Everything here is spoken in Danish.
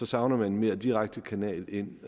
savner man en mere direkte kanal ind